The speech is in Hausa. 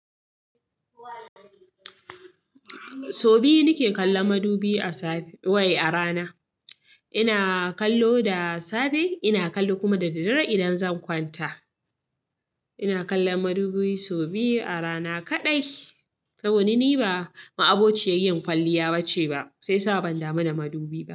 So biyu nake kallon madubi a safe wai a rana. Ina kallo da safe, ina kallo kuma da daddare idan zan kwanta. Ina kallon madubi so biyu a rana kaɗai. Saboda ni ba ma'abociyar yin kwalliya bace ba, sai sa ban damu da madubi ba.